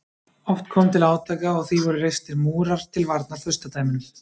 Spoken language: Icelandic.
Oft kom til átaka og því voru reistir múrar til varnar furstadæmunum.